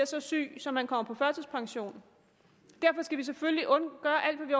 så syg at man kommer på førtidspension derfor skal vi selvfølgelig gøre alt hvad vi